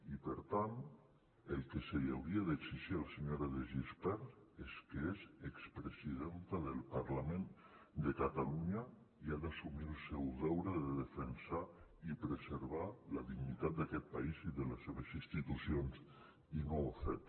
i per tant el que se li hauria d’exigir a la senyora de gispert és que és expresidenta del parlament de catalunya i ha d’assumir el seu deure de defensar i preservar la dignitat d’aquest país i de les seves institucions i no ho ha fet